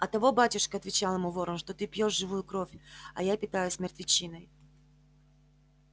оттого батюшка отвечал ему ворон что ты пьёшь живую кровь а я питаюсь мертвечиной